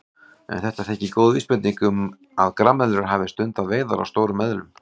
En þetta þykir góð vísbending um að grameðlur hafi stundað veiðar á stórum eðlum.